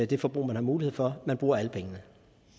det forbrug man har mulighed for man bruger alle pengene